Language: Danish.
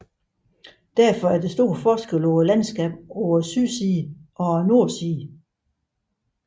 Derfor er der stor forskel mellem landskabet på sydsiden og nordsiden